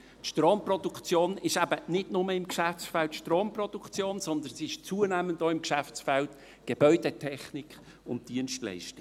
Stromproduktion ist eben nicht nur im Geschäftsfeld Stromproduktion, sondern zunehmend auch im Geschäftsfeld Gebäudetechnik und Dienstleistungen.